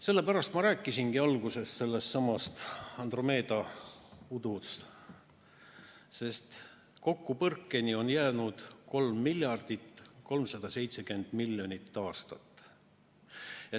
Sellepärast ma rääkisingi alguses Andromeeda udukogust, sest kokkupõrkeni on jäänud 3 370 000 000 aastat.